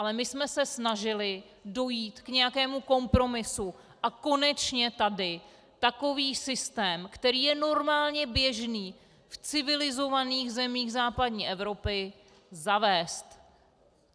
Ale my jsme se snažili dojít k nějakému kompromisu a konečně tady takový systém, který je normálně běžný v civilizovaných zemích západní Evropy, zavést.